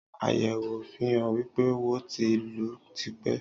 Àyèwò fihàn wípé, wo ti ń lù tipe